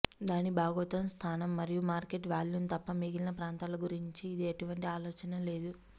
దాని భౌగోళిక స్థానం మరియు మార్కెట్ వాల్యూమ్ తప్ప మిగిలిన ప్రాంతాల గురించి ఇది ఎటువంటి ఆలోచన లేదు